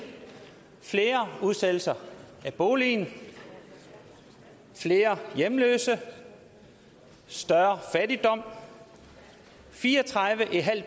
flere udsættelser af boligen flere hjemløse større fattigdom fireogtredivetusinde og